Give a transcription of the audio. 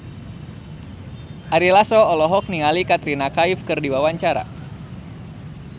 Ari Lasso olohok ningali Katrina Kaif keur diwawancara